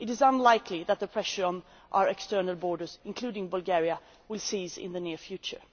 It is unlikely that the pressure on our external borders, including in Bulgaria, will cease in the near future.